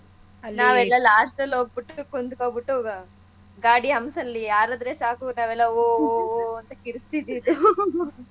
ಅಲ್ಲಾ ಇದು last ಅಲ್ ಹೋಗ್ಬುಟ್ಟು ಕುಂತ್ಕೊಂಡ್ಬುಟ್ಟು ಗಾಡಿ humps ಅಲ್ಲಿ ಹಾರದ್ರೆ ಸಾಕು ನಾವೆಲ್ಲ ಹೋಒಒ ಅಂತ ಕಿರಚತಿದ್ದಿದ್ದು